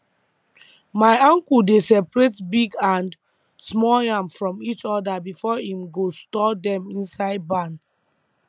my uncle dey separate big and small yam from each other before him go store dem inside barn